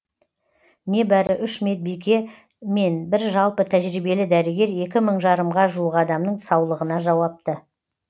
небәрі үш медбике мен бір жалпы тәжірибелі дәрігер екі мың жарымға жуық адамның саулығына жауапты